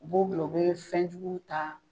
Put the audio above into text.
U b'o bila, u bɛ fɛnjuguw ta,